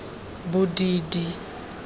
bodidi